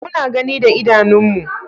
Muna gani da idanunmu.